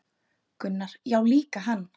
Gunnar: Já líka hann